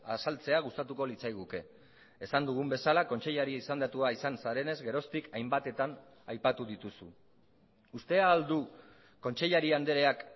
azaltzea gustatuko litzaiguke esan dugun bezala kontseilari izendatua izan zarenez geroztik hainbatetan aipatu dituzu uste al du kontseilari andreak